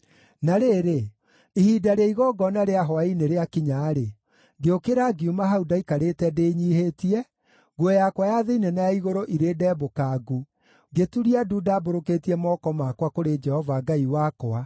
Na rĩrĩ, ihinda rĩa igongona rĩa hwaĩ-inĩ rĩakinya-rĩ, ngĩũkĩra ngiuma hau ndaikarĩte ndĩnyiihĩtie, nguo yakwa ya thĩinĩ na ya igũrũ irĩ ndembũkangu, ngĩturia ndu ndambũrũkĩtie moko makwa kũrĩ Jehova Ngai wakwa,